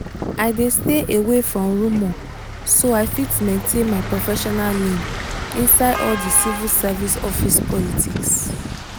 i dey stay away from rumour so i fit maintain my professional lane inside all the civil service office politics.